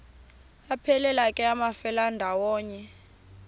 aphelela ke amafelandawonye